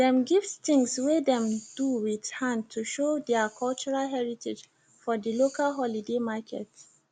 dem gift things wey dem do with hand to show der cultural heritage for the local holiday market